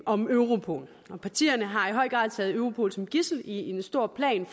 om europol og partierne har i høj grad taget europol som gidsel i en stor plan